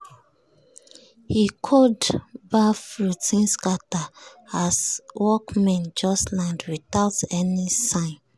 e cold baff routine scatter as workmen just land without any sign.